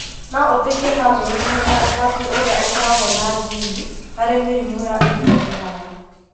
no ũteithie bamĩrĩ kũmenya ũgwati ũrĩa ũkoragwo na jini harĩ mĩrimũ ya ihinda iraya.